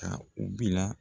Ka u bila